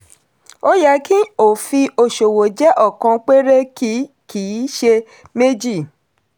ó yẹ kí òfin òṣòwò jẹ́ ọ̀kan péré kì kì í ṣe méjì.